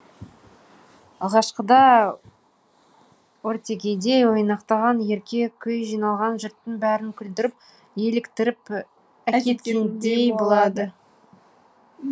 алғашқыда ортекедей ойнақтаған ерке күй жиналған жұрттың бәрін күлдіріп еліктіріп әкеткендей болады